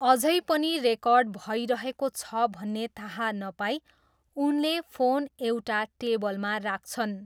अझै पनि रेकर्ड भइरहेको छ भन्ने थाहा नपाई उनले फोन एउटा टेबलमा राख्छन्।